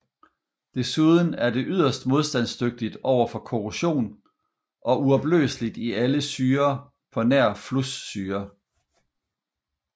Desuden er det yderst modstandsdygtigt overfor korrosion og uopløseligt i alle syrer på nær flussyre